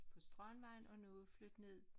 På strandvejen og nu er flyttet ned